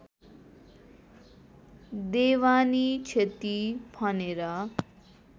देवानी क्षति भनेर